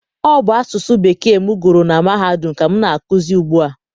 Ọ bụ asụsụ Bekee m gụrụ na mahadum ka m na-akụzi ugbu a.